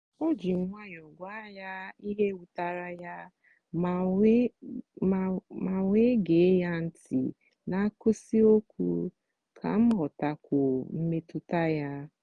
o ji nwayọọ gwa ya ihe wutere ya m wee gee ya ntị n’akwụsịghị okwu ka m ghọtakwuo mmetụta ya.